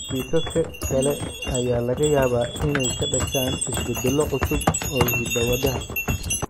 Kiisaska kale ayaa laga yaabaa inay ka dhashaan isbeddello cusub oo hidda-wadaha.